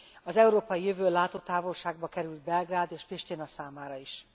Az európai jövő látótávolságba került Belgrád és Pristina számára is.